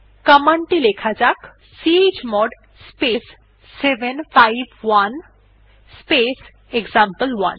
command টি লেখা যাক চমোড স্পেস 751 স্পেস এক্সাম্পল1